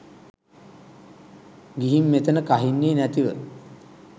ගිහින් මෙතන කහින්නේ නැතිව.